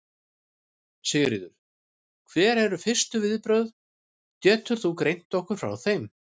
Sigríður: Hver eru fyrstu viðbrögð, getur þú greint okkur frá þeim?